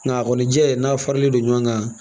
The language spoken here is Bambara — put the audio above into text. Nka a kɔni jɛ n'a faralen don ɲɔgɔn kan